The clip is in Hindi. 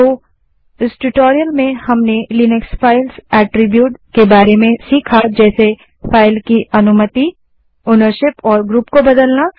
अतः इस ट्यूटोरियल में हमने लिनक्स फ़ाइल अट्रिब्युट्स के बारे में सीखा जैसे फाइल की अनुमति ओनरशीप और ग्रुप को बदलना